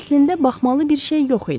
Əslində baxmalı bir şey yox idi.